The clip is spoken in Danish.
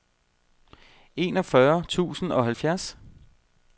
enogfyrre tusind og halvfjerds